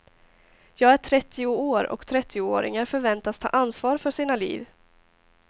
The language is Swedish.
Jag är trettio år och trettioåringar förväntas ta ansvar för sina liv.